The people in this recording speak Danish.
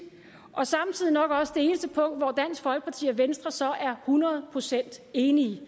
og samtidig nok også det eneste punkt hvor dansk folkeparti og venstre så er hundrede procent enige